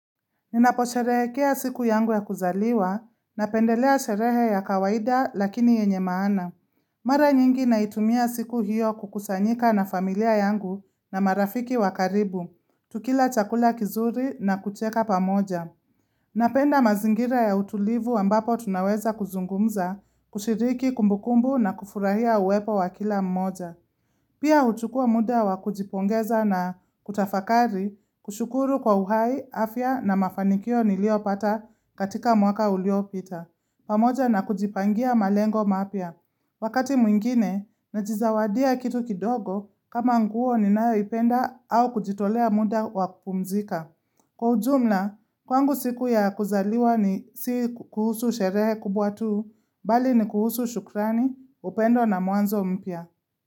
Ninapo sherehekea siku yangu ya kuzaliwa napendelea sherehe ya kawaida lakini yenye maana mara nyingi naitumia siku hiyo kukusanyika na familia yangu na marafiki wa karibu tukila chakula kizuri na kucheka pamoja napenda mazingira ya utulivu ambapo tunaweza kuzungumza kushiriki kumbukumbu na kufurahia uwepo wakila mmoja. Pia huchukua muda wa kujipongeza na kutafakari kushukuru kwa uhai afya na mafanikio niliopata katika mwaka uliopita pamoja na kujipangia malengo mapya wakati mwingine najizawadia kitu kidogo kama nguo ninayoipenda au kujitolea muda wa kupumzika kwa ujumla kwangu siku ya kuzaliwa ni si kuhusu sherehe kubwa tuu bali ni kuhusu shukrani upendo na mwanzo mpya.